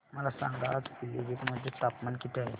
मला सांगा आज पिलीभीत मध्ये तापमान किती आहे